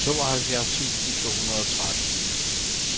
tooghalvfjerds tusind to hundrede og tretten